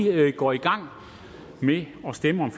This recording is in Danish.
går i gang med at stemme om